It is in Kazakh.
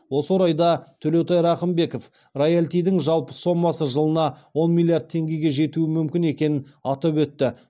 осы орайда төлеутай рақымбеков роялтидің жалпы сомасы жылына он миллиард теңгеге жетуі мүмкін екенін атап өтті